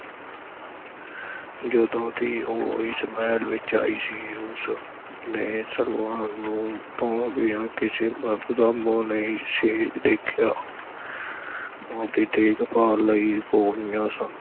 ਜਦੋਂ ਦੀ ਉਹ ਇਸ ਮਹਿਲ ਵਿਚ ਆਈ ਸੀ ਉਸ ਨੇ ਸਲਵਾਨ ਨੂੰ ਤੋਂ ਬਿਨਾਂ ਕਿਸੇ ਮਰਦ ਦਾ ਮੂੰਹ ਨਹੀਂ ਸੀ ਦੇਖਿਆ ਉਹਦੀ ਦੇਖ-ਭਾਲ ਲਈ ਗੋਲੀਆਂ ਸਨ।